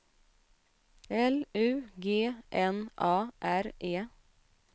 L U G N A R E